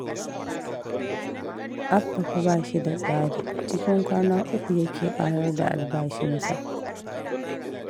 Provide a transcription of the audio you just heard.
Abba fa ba shi da tsari, cikin kwana uku yake ƙarar da albashinsa